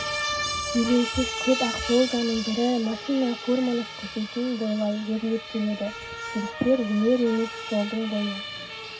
елеусіз көп ақ волганың бірі машина фурманов көшесін бойлай өрлеп келеді жүрістер өнер емес жолдың бойы